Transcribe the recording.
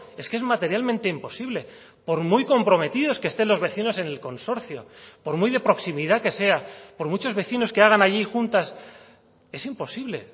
es que es materialmente imposible por muy comprometidos que estén los vecinos en el consorcio por muy de proximidad que sea por muchos vecinos que hagan allí juntas es imposible